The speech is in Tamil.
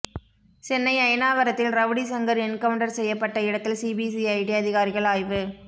சென்னை அயனாவரத்தில் ரவுடி சங்கர் என்கவுண்டர் செய்யப்பட்ட இடத்தில சிபிசிஐடி அதிகாரிகள் ஆய்வு